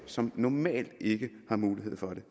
som normalt ikke har mulighed for det